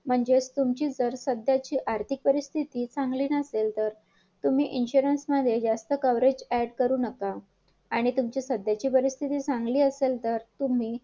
फायदा होतो हे सगळ्यांचा कारण का एकत्र करायला गेलो ना तर आपल्याला जमेल उद्या नुकसान पण झालं तर भांडता येईल आणि फायदा जरी झाला तर वाटून घेता येईल.